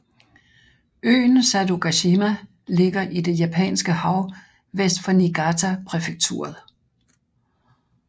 Øen Sadogashima ligger i det Japanske Hav vest for Niigata præfekturet